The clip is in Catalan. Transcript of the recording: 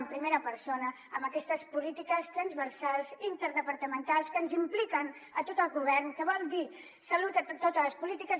en primera persona amb aquestes polítiques transversals interdepartamentals que ens impliquen a tot el govern que vol dir salut a totes les polítiques